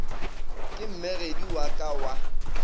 ke mmegedi wa ka wa